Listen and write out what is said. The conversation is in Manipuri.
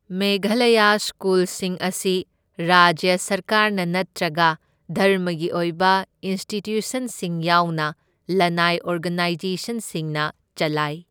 ꯃꯦꯘꯥꯂꯌꯥ ꯁ꯭ꯀꯨꯜꯁꯤꯡ ꯑꯁꯤ ꯔꯥꯖ꯭ꯌ ꯁꯔꯀꯥꯔꯅ ꯅꯠꯇ꯭ꯔꯒ ꯙꯔꯃꯒꯤ ꯑꯣꯏꯕ ꯏꯟꯁꯇꯤꯇ꯭ꯌꯨꯁꯟꯁꯤꯡ ꯌꯥꯎꯅ ꯂꯅꯥꯏ ꯑꯣꯔꯒꯅꯥꯏꯖꯦꯁꯟꯁꯤꯡꯅ ꯆꯂꯥꯏ꯫